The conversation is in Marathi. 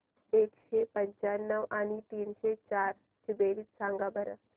एकशे पंच्याण्णव आणि तीनशे चार ची बेरीज सांगा बरं